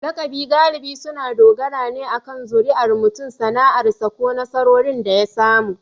Lakabi galibi suna dogara ne akan zuriyar mutum, sana'arsa, ko nasarorin da ya samu.